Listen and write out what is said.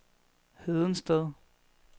Hedensted